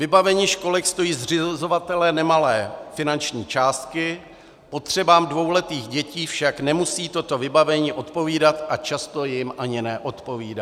Vybavení školek stojí zřizovatele nemalé finanční částky, potřebám dvouletých dětí však nemusí toto vybavení odpovídat a často jim ani neodpovídá.